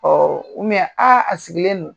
a sigilen don